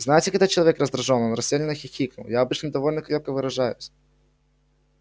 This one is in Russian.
знаете когда человек раздражён он растерянно хихикнул я обычно довольно крепко выражаюсь